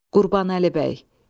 Qurbanəli Bəy.